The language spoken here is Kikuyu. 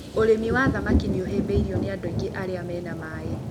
ũrĩmi wa thamaki nĩ ũhĩmbĩirwo nĩ andũ aingĩ arĩa mena maĩ.